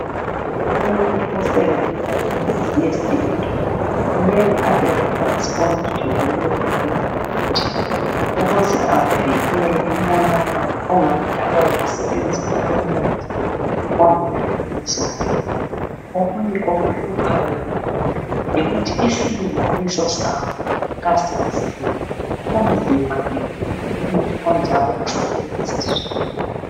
Umuntu osebenzisa imuthi wesintu kumele abe lolwazi olujulileyo ngalowomuthi ukuze avikele umonakalo ongadalwa yikusebenzisa umuthi ongela qiniso lawo, okunye okuhluphayo yilokhu yikuthi isilinganiso sawo kasaziwa kunzima ke ukuthi umuthi onjalo usebenziswe.